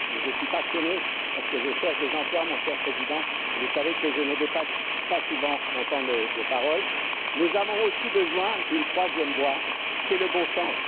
un peu mais je suis passionné parce que je cherche des emplois, cher Président, et vous savez que je ne dépasse pas souvent mon temps de parole mais nous avons aussi besoin d'une troisième voie c'est le bon sens.